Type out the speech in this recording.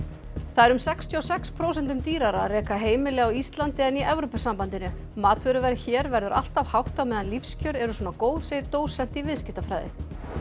það er um sextíu og sex prósentum dýrara að reka heimili á Íslandi en í Evrópusambandinu matvöruverð hér verður alltaf hátt á meðan lífskjör eru svona góð segir dósent í viðskiptafræði